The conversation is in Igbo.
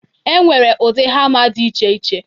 E nwere udi hama dị iche iche.